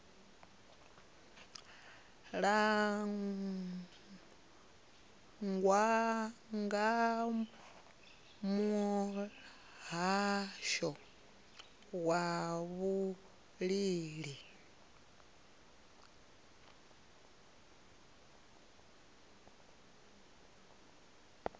langwa nga muhasho wa vhulimi